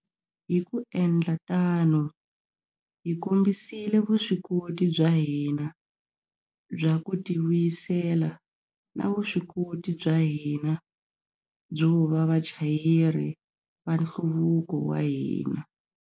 Hi ku endla tano, hi kombisile vuswikoti bya hina bya ku tivuyisela na vuswikoti bya hina byo va vachayeri va nhluvuko wa hina.